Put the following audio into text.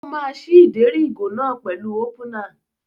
Ó máa ṣí ìdérí ìgò náà pẹ̀lú ópúnà.